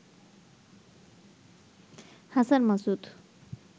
Hasan Masud